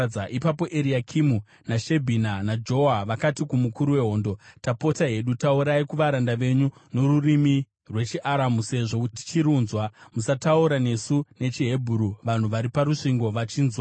Ipapo Eriakimu, naShebhina, naJoa vakati kumukuru wehondo, “Tapota hedu, taurai kuvaranda venyu norurimi rwechiAramu, sezvo tichirunzwa. Musataura nesu nechiHebheru vanhu vari parusvingo vachinzwa.”